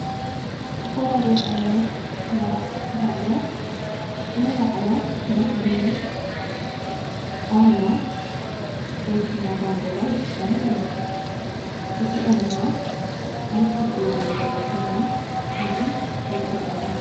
ዝተፈላለዩ ዓይነት መራሕቲ ሃገር ናይ ባዕሎም መለለይ ኣርማ ወይ ድማ ባንዴራ ይጥቆሙ እዮም። እዙይኦም ድማ ኣብዚኅ አብ ሕዚ እዋን እንርኦ ዘለና ድማ ሓንቲ ናይ ኢትዮጵያ ባንደራ እያ፥፥